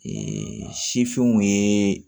sifinw ye